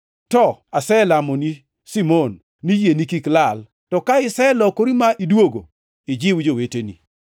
To aselamoni, Simon, ni yieni kik lal. To ka iselokori ma idwogo, ijiw joweteni.”